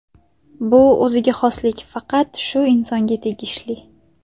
Bu o‘ziga xoslik faqat shu insonga tegishli.